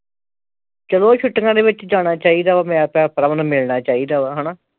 ਚਲੋ ਛੁੱਟੀਆਂ ਦੇ ਵਿਚ ਜਾਣਾ ਚਾਹੀਦਾ ਵਾ ਭੈਣ ਭਰਾਵਾਂ ਨੂੰ ਮਿਲਣਾ ਚਾਹੀਦਾ ਵਾ ਹਣਾ